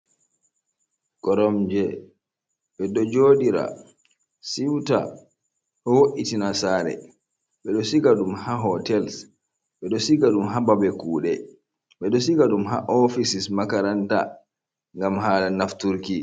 Koromje ɓeɗo joɗira siuta, ɗo wo’itina sare, ɓeɗo siga ɗum ha hotels, ɓeɗo siga ɗum ha babe kuɗe, ɓedo siga ɗum ha ofisis makaranta ngam hala nafturki.